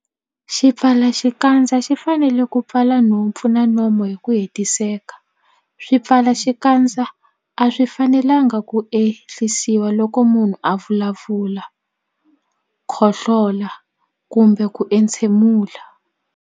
Xipfalaxikandza xi fanele ku pfala nhompfu na nomo hi ku hetiseka. Swipfalaxikandza a swi fanelanga ku ehlisiwa loko munhu a vulavula, khohlola kumbe ku entshemula.